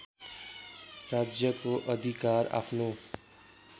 राज्यको अधिकार आफ्नो